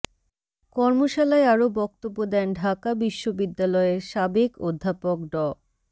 কর্মশালায় আরও বক্তব্য দেন ঢাকা বিশ্ববিদ্যালয়ের সাবেক অধ্যাপক ড